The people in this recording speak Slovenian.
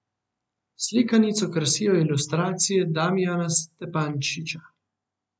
Slikanico krasijo ilustracije Damijana Stepančiča.